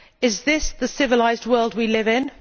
Is this the civilised world we live in?